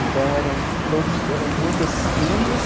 Então eram todos eram muitos filhos.